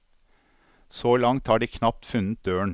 Så langt har de knapt funnet døren.